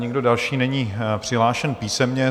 Nikdo další není přihlášen písemně.